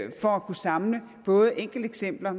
for at kunne samle både enkelteksempler og